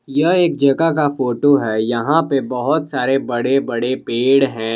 यह एक जगह का फोटो है यहाँ पे बहुत सारे बड़े बड़े पेड़ है।